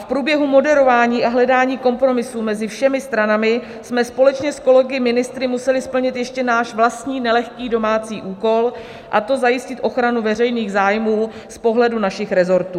V průběhu moderování a hledání kompromisu mezi všemi stranami jsme společně s kolegy ministry museli splnit ještě náš vlastní nelehký domácí úkol, a to zajistit ochranu veřejných zájmů z pohledu našich resortů.